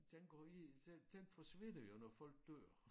Den går i den den forsvinder jo når folk dør